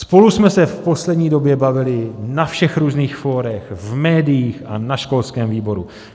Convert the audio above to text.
Spolu jsme se v poslední době bavili na všech různých fórech, v médiích a na školském výboru.